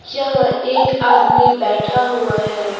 यहाँ एक आदमी बैठा हुआ है।